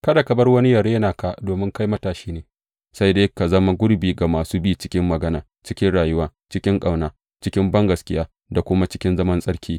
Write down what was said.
Kada ka bar wani yă rena ka domin kai matashi ne, sai dai ka zama gurbi ga masu bi cikin magana, cikin rayuwa, cikin ƙauna, cikin bangaskiya da kuma cikin zaman tsarki.